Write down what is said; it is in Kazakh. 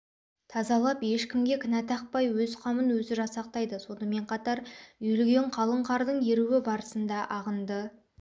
тазалап ешкімге кінәтақпай өз қамын өзі жасақтайды сонымен қатар үйілген қалың қардың еруі барысында ағынды